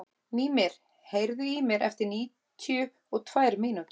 Mímir, heyrðu í mér eftir níutíu og tvær mínútur.